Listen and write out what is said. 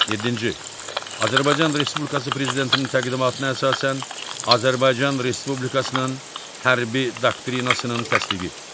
Yeddinci, Azərbaycan Respublikası Prezidentinin təqdimatına əsasən Azərbaycan Respublikasının hərbi doktrinasının təsdiqi.